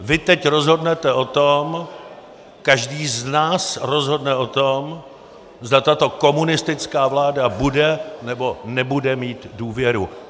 Vy teď rozhodnete o tom, každý z nás rozhodne o tom, zda tato komunistická vláda bude nebo nebude mít důvěru.